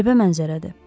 Qəribə mənzərədir.